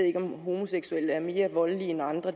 ikke om homoseksuelle mænd er mere voldelige end andre